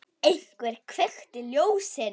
Einhver kveikti ljósin.